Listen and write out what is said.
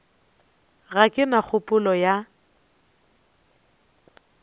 ga ke na kgopolo ya